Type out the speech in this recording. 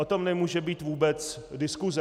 O tom nemůže být vůbec diskuse.